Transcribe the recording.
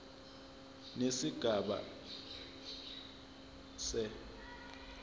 nesigaba a se